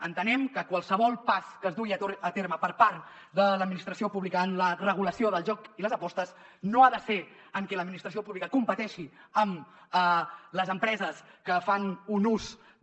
entenem que qualsevol pas que es dugui a terme per part de l’administració pública en la regulació del joc i les apostes no ha de ser en que l’administració pública competeixi amb les empreses que fan un ús de